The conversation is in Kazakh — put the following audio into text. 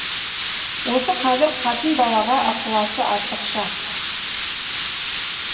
осы қазір қатын балаға ықыласы артықша